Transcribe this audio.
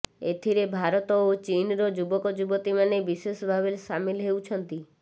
ଏଥିରେ ଭାରତ ଓ ଚୀନର ଯୁବକ ଯୁବତୀମାନେ ବିଶେଷ ଭାବେ ସାମିଲ ହେଉଛନ୍ତି